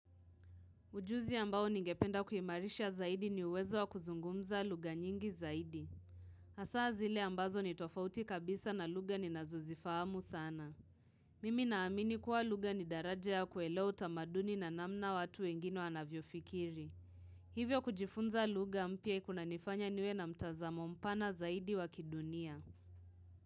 Ujuzi ambao ningependa kuimarisha zaidi ni uwezo wa kuzungumza lugha nyingi zaidi. Hasaa zile ambazo ni tofauti kabisa na lugha ninazozifahamu sana. Mimi naamini kuwa lugha ni daraja ya kuelewa tamaduni na namna watu wengine wanavyo fikiri. Hivyo kujifunza lugha mpya kunanifanya niwe na mtazamo mpana zaidi wa kidunia.